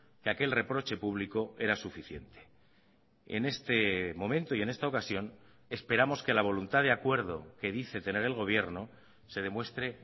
que aquel reproche público era suficiente en este momento y en esta ocasión esperamos que la voluntad de acuerdo que dice tener el gobierno se demuestre